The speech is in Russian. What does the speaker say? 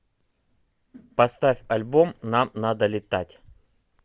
поставь альбом нам надо летать